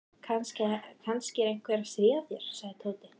Kannski er einhver að stríða þér sagði Tóti.